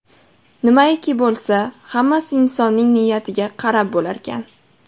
Nimaiki bo‘lsa, hammasi insonning niyatiga qarab bo‘larkan.